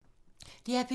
DR P2